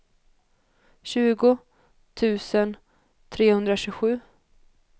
tjugo tusen trehundratjugosju